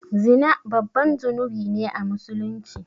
Zina babban zunubi ne a musulunci